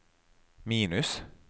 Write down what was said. minus